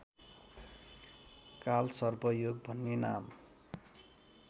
कालसर्पयोग भन्ने नाम